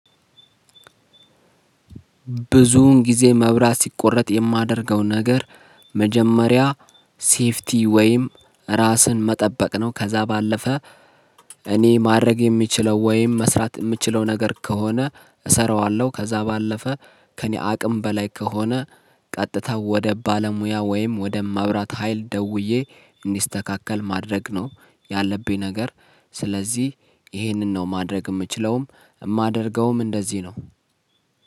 ብዙውን ጊዜ መብራት ሲቆረጥ የማደርገው ነገር መጀመሪያ ሴፍቲ ወይም ራስን መጠበቅ ነው። ከዛ ባለፈ እኔ ማድረግ የሚችለው ወይም መስራት ምችለው ነገር ከሆነ እሰራዋለሁ። ከዛ ባለፈ ከእኔ አቅም በላይ ከሆነ ቀጥታ ወደ ባለሙያ ወይም ወደ መብራት ሀይል ደውዬ እንዲስተካከል ማድረግ ነው ያለብኝ ነገር። ስለዚህ ይሄንን ነው ማድረግ ምችለውም እማደርገውም እንደዚህ ነው።